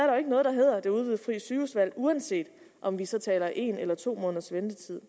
jo ikke noget der hedder det udvidede frie sygehusvalg uanset om vi så taler om en eller to måneders ventetid